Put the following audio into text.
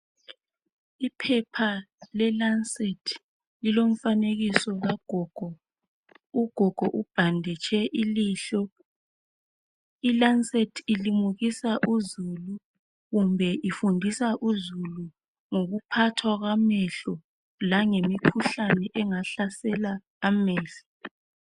Iphepha leLancet, lilomfanekiso kagogo. Ugogo ubhanditshe ilihlo. ILancet ilimukisa uzulu, kumbe ifundisa uzulu, ngokuphathwa kwamehlo. Langemikhuhlane, engahlasela amehlo.